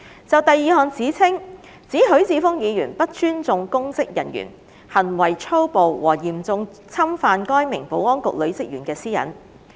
就第二項指稱，指許智峯議員不尊重公職人員、行為粗暴和嚴重侵犯該名保安局女職員的私隱。